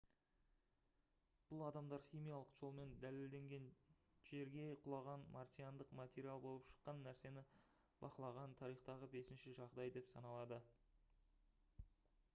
бұл адамдар химиялық жолмен дәлелденген жерге құлаған марсиандық материал болып шыққан нәрсені бақылаған тарихтағы бесінші жағдай деп саналады